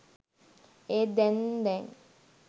ඒත් දැන් දැන්